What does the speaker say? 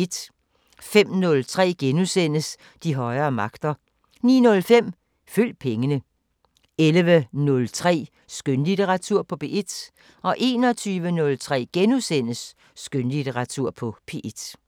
05:03: De højere magter * 09:05: Følg pengene 11:03: Skønlitteratur på P1 21:03: Skønlitteratur på P1 *